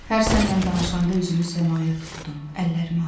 Hər sənnən danışanda özümü səmaya tutdum, əllərimi açdım.